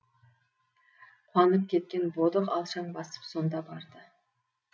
қуанып кеткен бодық алшаң басып сонда барды